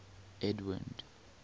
edwind